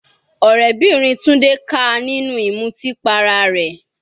Ọ̀rẹ́bìnrin Tunde ká a nínú ìmutí para rẹ̀.